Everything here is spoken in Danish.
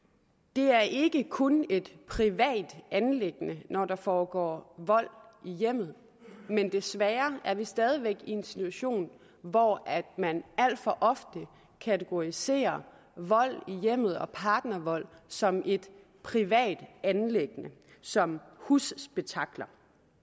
det er ikke kun et privat anliggende når der foregår vold i hjemmet men desværre er vi stadig væk i en situation hvor man alt for ofte kategoriserer vold i hjemmet og partnervold som et privat anliggende som husspektakler